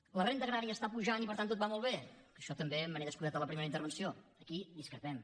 que la renda agrària està pujant i per tant tot va molt bé que d’això també me n’he descuidat en la primera intervenció aquí discrepem